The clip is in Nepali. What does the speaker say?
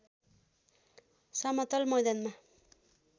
समतल मैदानमा